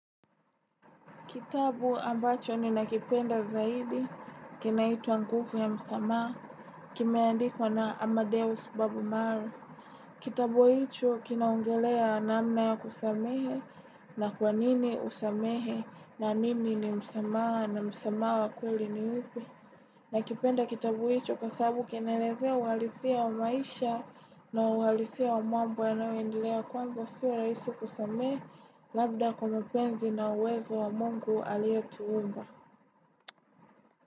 Kitabu ambacho ni nakipenda zaidi, kina itaitwa ya msamaa, kimeandikwa na Amadeus Babu Maru. Kitabu hicho kinaongelea namna ya kusamehe na kwa nini usamehe na nini ni msamaha na msamaha wa kweli ni upe. Nakipenda kitabu hicho kasabu kinelezea uhalisia wa maisha na uhalisia wa mambo na uindilea kwamba sio rahisi kusamea labda kwa mapenzi na uwezo wa mungu alia tuumba.